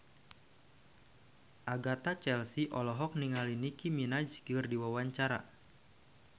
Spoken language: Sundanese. Agatha Chelsea olohok ningali Nicky Minaj keur diwawancara